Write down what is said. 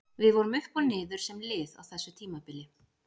Við vorum upp og niður sem lið á þessu tímabili.